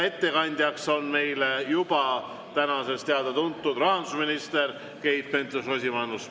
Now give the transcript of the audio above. Ettekandja on täna juba teada-tuntud: rahandusminister Keit Pentus-Rosimannus.